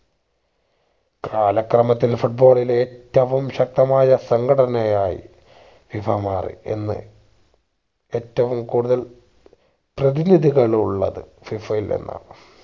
കാലക്രമത്തിൽ foot ball ലെ ഏറ്റവും ശക്തമായ സംഘടനായി FIFA മാറി എന്ന് ഏറ്റവും കൂടുതൽ പ്രതിനിധികൾ ഉള്ളത് FIFA യിൽ നിന്നാണ്